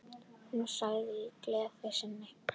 Hún sagði í gleði sinni: